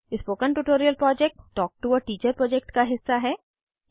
spoken tutorial project talk to a teacher project का हिस्सा है